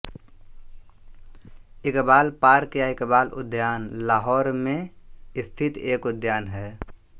Iqbal park या इकबाल उद्यान लाहौर में स्थित एक उद्यान है